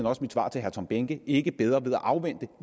også mit svar til herre tom behnke ikke bedre ved at afvente